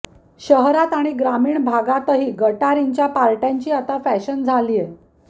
शहरात आणि ग्रामीण भागतही गटारींच्या पार्ट्यांची आता फॅशन झालीय